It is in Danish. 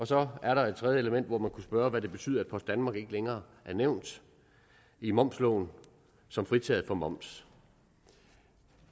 så er der et tredje element og man kunne spørge hvad det betyder at post danmark ikke længere er nævnt i momsloven som fritaget for moms